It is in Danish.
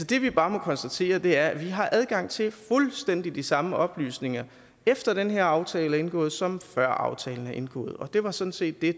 det vi bare må konstatere er at vi har adgang til fuldstændig de samme oplysninger efter den her aftale er indgået som før aftalen blev indgået og det var sådan set det